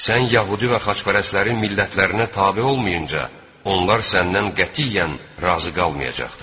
Sən yəhudi və xaçpərəstlərin millətlərinə tabe olmayınca onlar səndən qətiyyən razı qalmayacaqdır.